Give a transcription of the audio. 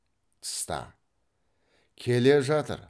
тыста келе жатыр